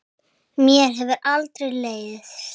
Mér hefur aldrei leiðst.